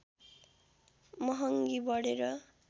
महङ्गी बढेर